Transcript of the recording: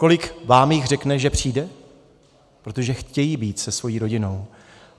Kolik vám jich řekne, že přijde, protože chtějí být se svou rodinou?